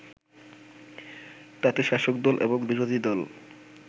তাতে শাসকদল এবং বিরোধীদল